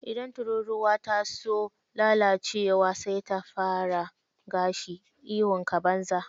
Idan tururuwa ta so lalacewa, sai ta fara gashi. Ihunka, banza.